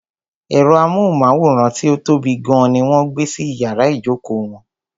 Ẹ̀rọ amóhùnmáwòrán tí ó tóbi gan ní wọ́n gbé sí iyàrá ìjókò wọn.